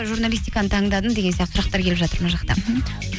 журналистиканы таңдадың деген сияқты сұрақтар келіп жатыр мына жақта